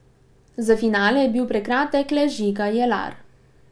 Za finale je bil prekratek le Žiga Jelar.